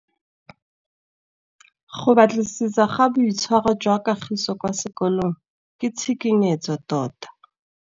Go batlisisa ka boitshwaro jwa Kagiso kwa sekolong ke tshikinyêgô tota.